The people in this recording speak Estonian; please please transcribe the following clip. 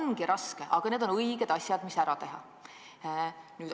See ongi raske olnud, aga need on õiged asjad, mis tuli ära teha.